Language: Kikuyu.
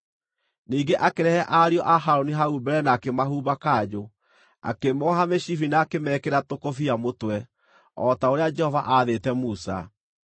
Ningĩ akĩrehe ariũ a Harũni hau mbere na akĩmahumba kanjũ, akĩmooha mĩcibi na akĩmekĩra tũkũbia mũtwe, o ta ũrĩa Jehova aathĩte Musa.